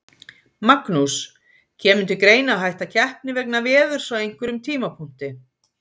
Magnús: Kemur til greina að hætta keppni vegna veðurs á einhverjum tímapunkti?